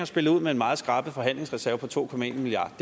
spillet ud med en meget skrap forhandlingsreserve på to milliard